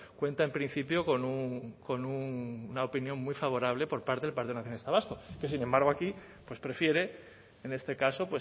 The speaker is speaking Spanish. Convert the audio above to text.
cuenta en principio con una opinión muy favorable por parte del partido nacionalista vasco que sin embargo aquí pues prefiere en este caso